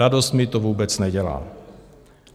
Radost mi to vůbec nedělá.